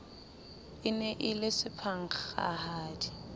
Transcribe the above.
e ne e le sephankgahadi